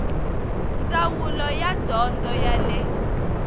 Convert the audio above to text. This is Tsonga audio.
ndzawulo ya dyondzo ya le